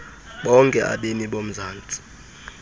bonke abemi bomzantsi